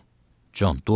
“Con, dua oxu.